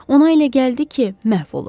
Ona elə gəldi ki, məhv olub.